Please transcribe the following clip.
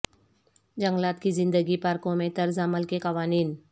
جنگلات کی زندگی پارکوں میں طرز عمل کے قوانین